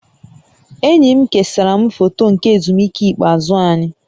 Enyi m kesara m foto nke ezumike ikpeazụ anyị